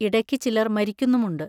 ഇടയ്ക്ക് ചിലർ മരിക്കുന്നുമുണ്ട്.